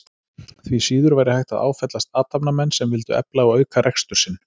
Því síður væri hægt að áfellast athafnamenn sem vildu efla og auka rekstur sinn.